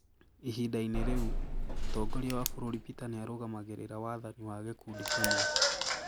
Ihinda-inĩ rĩu, mũtongoria wa bũrũri Peter nĩ aarũgamagĩrĩra wathani wa gĩkundi kĩmwe